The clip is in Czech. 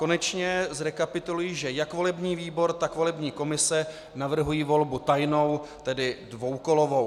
Konečně zrekapituluji, že jak volební výbor tak volební komise navrhují volbu tajnou, tedy dvoukolovou.